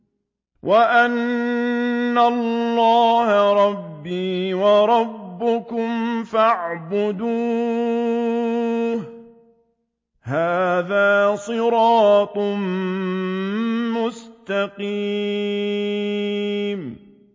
وَإِنَّ اللَّهَ رَبِّي وَرَبُّكُمْ فَاعْبُدُوهُ ۚ هَٰذَا صِرَاطٌ مُّسْتَقِيمٌ